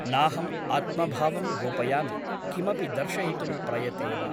नाहम् आत्मभावं गोपयामि , किमपि दर्शयितुं प्रयते वा ।